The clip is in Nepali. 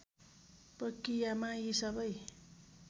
प्रक्रियामा यी सबै